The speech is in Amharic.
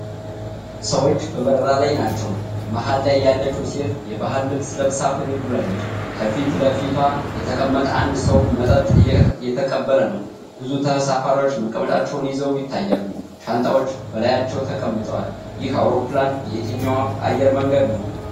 ሰዎች በበረራ ላይ ናቸው። መሀል ላይ ያለችው ሴት የባህል ልብስ ለብሳ ፈገግ ብላለች። ከፊት ለፊቷ የተቀመጠ አንድ ሰው መጠጥ እየተቀበለ ነው። ብዙ ተሳፋሪዎች መቀመጫቸውን ይዘው ይታያሉ። ሻንጣዎች በላያቸው ተቀምጠዋል። ይህ አውሮፕላን የየትኛው አየር መንገድ ነው?